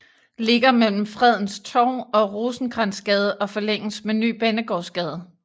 Ligger mellem Fredens Torv og Rosenkrantzgade og forlænges med Ny Banegårdsgade